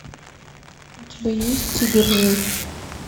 у тебя есть тигр жив